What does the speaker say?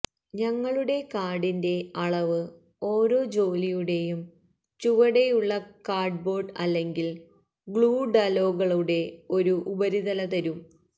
ഞങ്ങളുടെ കാർഡിന്റെ അളവ് ഓരോ ജോലിയുടെയും ചുവടെയുള്ള കാർഡ്ബോർഡ് അല്ലെങ്കിൽ ഗ്ലൂ ഡലോകളുടെ ഒരു ഉപരിതല തരും